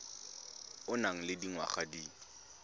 o nang le dingwaga di